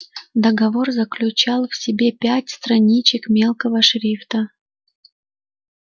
договор заключал в себе пять страничек мелкого шрифта